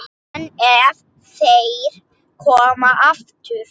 En ef þeir koma aftur?